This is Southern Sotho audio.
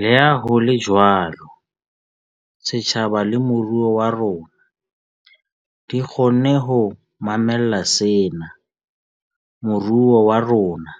Leha ho le jwalo, setjhaba le moruo wa rona di kgonne ho mamella sena. Moruo wa rona